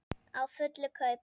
Á fullu kaupi.